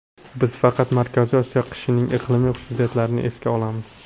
Biz faqat Markaziy Osiyo qishining iqlimiy xususiyatlarini esga olamiz.